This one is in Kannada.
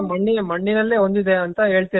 ಮಣ್ಣಿನಲ್ಲೇ ಹೊಂದಿದೆ ಅಂತ ಹೇಳ್ತೀರ ನೀವು